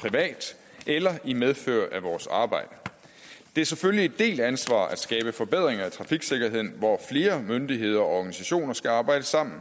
privat eller i medfør af vores arbejde det er selvfølgelig et delt ansvar at skabe forbedringer i trafiksikkerheden hvor flere myndigheder og organisationer skal arbejde sammen